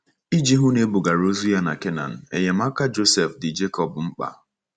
Iji hụ na e bugara ozu ya canaan, enyemaka Josef dị Jekọb mkpa.